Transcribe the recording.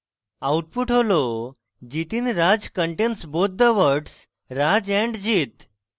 output হল jitinraj contains both the words raj and jit